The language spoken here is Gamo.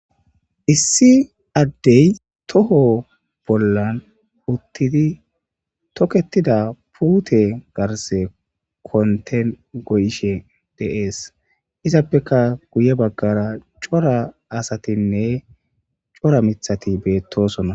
issi addey toho bollan uttidi toketida puute garse konten goyishe deees izappeka guye baggara cora asatinne cora mithati beettosona